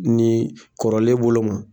Ni kɔrɔlen bolo ma